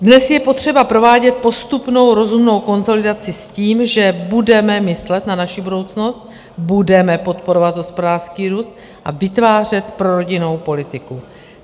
Dnes je potřeba provádět postupnou rozumnou konsolidaci s tím, že budeme myslet na naši budoucnost, budeme podporovat hospodářský růst a vytvářet prorodinnou politiku.